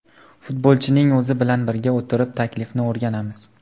Futbolchining o‘zi bilan birga o‘tirib, taklifni o‘rganamiz.